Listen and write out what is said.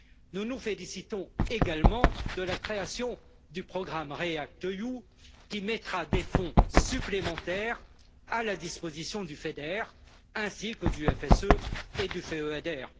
Nous nous félicitons également de la création du programme REACT EU, qui mettra des fonds supplémentaires à la disposition du FEDER, ainsi que du FSE et du FEADER.